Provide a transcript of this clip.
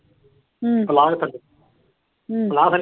ਹੂੰ। ਹੂੰ।